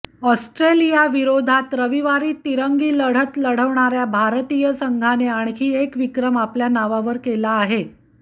Australia विरोधात रविवारी तिरंगी लढत लढणार्या भारतीय संघाने आणखी एक विक्रम आपल्या नावावर केला आहे